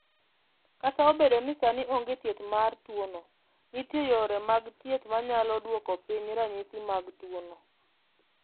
"Kata obedo ni sani onge thieth mar tuwono, nitie yore mag thieth ma nyalo duoko piny ranyisi mag tuwono."